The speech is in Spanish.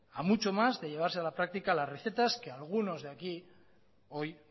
a mucho más de llevarse a la práctica las recetas que algunos aquí hoy